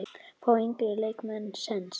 Fá yngri leikmenn séns?